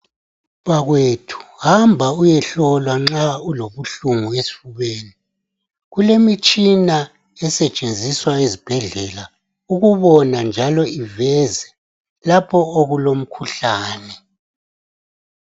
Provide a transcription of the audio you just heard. Bakwethu, hamba uyehlolwa nxa ulobuhlungu esifubeni. Kulemitshina esetshenziswa ezibhedlela ukubona njalo iveze lapho okulomkhuhlane.